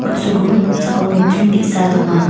on·sogimin noksao nokdring ge·sa donga.